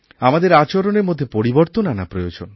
আমাদের আচরণের মধ্যে পরিবর্তন আনা প্রয়োজন